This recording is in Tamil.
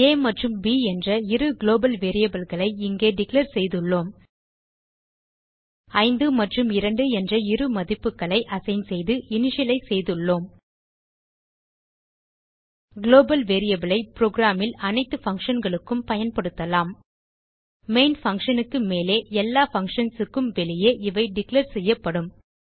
ஆ மற்றும் ப் என்ற இரு குளோபல் வேரியபிள் களை இங்கே டிக்ளேர் செய்துள்ளோம் 5 மற்றும் 2 என்ற இரு மதிப்புகளை அசைன் செய்து இனிஷியலைஸ் செய்துள்ளோம் குளோபல் வேரியபிள் ஐ புரோகிராம் ல் அனைத்து பங்ஷன் களுக்கும் பயன்படுத்தலாம் main பன்ஷன் க்கு மேலே எல்லா பங்ஷன்ஸ் க்கும் வெளியே இவை டிக்ளேர் செய்யப்படும்